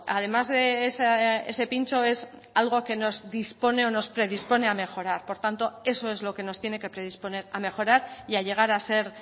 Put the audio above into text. además de ese pincho es algo que nos dispone o nos predispone a mejorar por tanto eso es lo que nos tiene que predisponer a mejorar y a llegar a ser